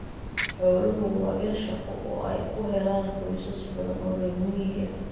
Xooluhu waa il shaqo oo ay ka helaan qoysas badan oo reer miyi ah.